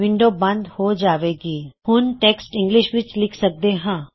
window ਬੰਦ ਹੋ ਜਾਵੇਗੀ ਹੁਣ ਅਸੀਂ ਟੈਕਸਟ ਇੰਗਲਿਸ਼ ਵਿੱਚ ਲਿਖ ਸਕਦੇ ਹਾਂ